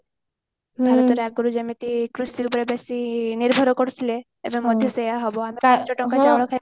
ଅଗୁରୁ ଯେମିତି କୃଷି ଉପରେ ବେଶୀ ନିର୍ଭର କରୁଥିଲେ ଏବେ ମଧ୍ୟ ସେଇଆ ହବ